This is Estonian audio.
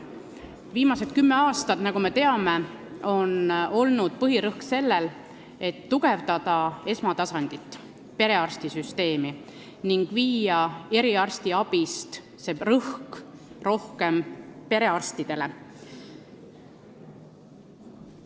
Viimased kümme aastat, nagu me teame, on põhirõhk olnud sellel, et tugevdada esmatasandit, perearstisüsteemi, ning viia rõhk eriarstiabilt rohkem perearstisüsteemile.